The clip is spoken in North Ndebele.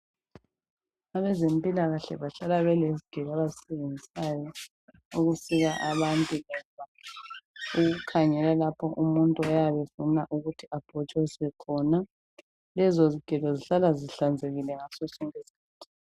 Abezempilakahle bahlala belezigelo abazisebenzisayo ukusika abantu ukukhangela lapho umuntu oyabe efuna ukuthi abhotshozwe khona lezo zigelon zihllala zihlanzekile ngaso sonke isikhathi